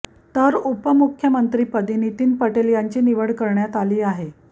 तर उपमुख्यमंत्रीपदी नितीन पटेल यांची निवड करण्यात आली आहे